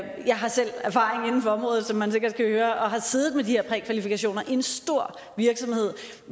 har selv erfaring inden for området som man sikkert kan høre og har siddet med de her prækvalifikationer i en stor virksomhed